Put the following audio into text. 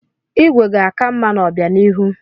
Igwe ga-aka mma n'obịanihu.